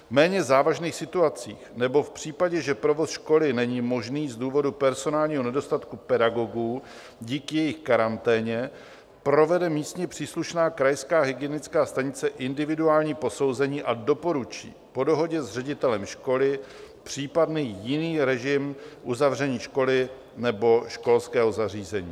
V méně závažných situacích nebo v případě, že provoz školy není možný z důvodu personálního nedostatku pedagogů díky jejich karanténě, provede místně příslušná krajská hygienická stanice individuální posouzení a doporučí po dohodě s ředitelem školy případný jiný režim uzavření školy nebo školského zařízení.